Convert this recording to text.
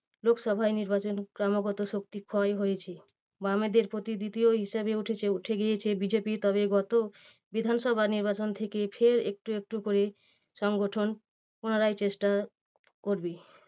লোকসভায় নির্বাচন ক্রমাগত শক্তি ক্ষয় হয়েছে। বামেদের প্রতি দ্বিতীয় হিসেবে উঠেছে উঠে গিয়েছে বি যে পি তবে গত বিধানসভা নির্বাচন থেকে ফের একটু একটু করে সংগঠন পুনরায় চেষ্টা করবে।